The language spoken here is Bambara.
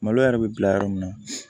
Malo yɛrɛ bɛ bila yɔrɔ min na